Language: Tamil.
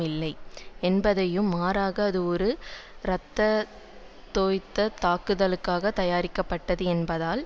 இல்லை என்பதையும் மாறாக அது ஓர் இரத்தந்தோய்ந்த தாக்குதலுக்காக தயாரிக்கப்பட்டது என்பதால்